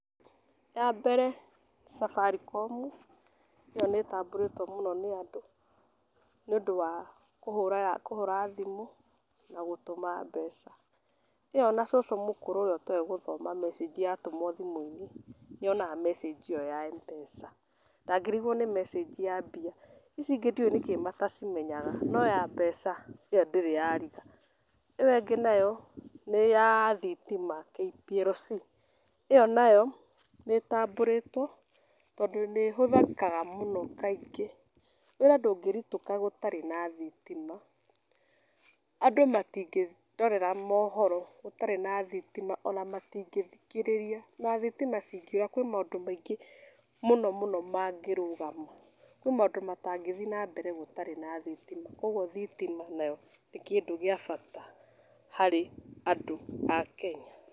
Yambere nĩ Safaricom ĩyo nĩ ĩtambũrĩtwo mũno nĩ andũ nĩ ũndũ wa kũhũra thimũ na gũtũma mbeca, ĩyo ona cũcũ mũkũrũ ũrĩa atoĩ gũthoma messenge yatũmwo thimũ inĩ nĩonaga messenge ĩyo ya Mpesa ndangĩrĩgwo nĩ messenge ya mbia ici ingĩ ndiũĩ nĩkĩĩ matacimenyaga no ya mbeca ĩyo ndĩrĩ yarĩga ĩyo ĩngĩ nayo nĩ ya thitima KPLC ĩyo nayo nĩ ĩtaambũrĩtwo tondũ nĩ ĩhũthĩkaga mũno kaingĩ wĩra ndũngĩrũtĩka gũtarĩ na thitima adnũ matĩngĩrorera mohoro gũtarĩ na thitima ona matĩngĩthikĩrĩria ona thitima cingĩũra kwĩ maũndũ maingĩ mũno mũno magĩrũgama kwĩna maũndũ matangĩthiĩ na mbere gũtarĩ na thitima kũogũo thitima nayo nĩ kĩndũ gĩa bata harĩ andũ a kenya.